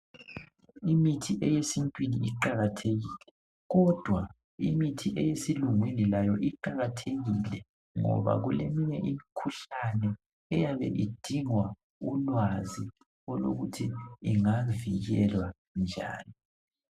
Imithi eyesintwini iqakathekile kodwa imithi eyesilungwini layo iqakathekile ngoba kule minye imikhuhlane eyabe idinga ulwazi olokuthi ingavikelwa njani.